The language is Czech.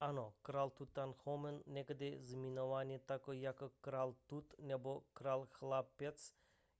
ano král tutanchamón někdy zmiňovaný také jako král tut nebo král chlapec